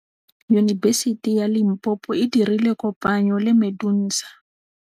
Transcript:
Yunibesiti ya Limpopo e dirile kopanyô le MEDUNSA.